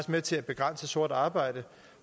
med til at begrænse sort arbejde